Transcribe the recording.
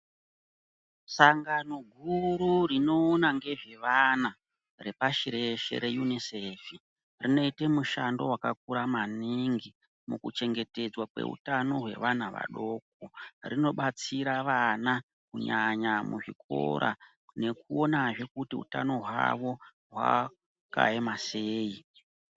Sangano guru rinoona ngezvevana repashireshe reunosefi zvinote mushando vakakura maningi mukuchengetedzwa kweutano kwevana vadoko. Rinobatsira vana kunyanya muzvikora nekuonazve kuti utano hwavo hwakaema sei.